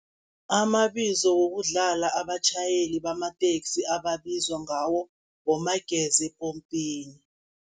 Amabizo wokudlala abatjhayeli bamateksi ababizwa ngawo bomageza epompini.